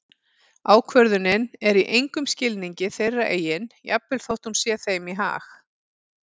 Ákvörðunin er í engum skilningi þeirra eigin jafnvel þótt hún sé þeim í hag.